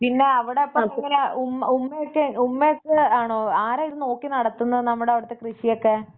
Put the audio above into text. പിന്നെ അവിടിപ്പം എങ്ങനെയാ ഉമ്മ ഉമ്മക്കെ ഉമ്മക്കെ ആണോ ആരാത് നോക്കി നടത്തുന്നത് കൃഷിയൊക്കെ?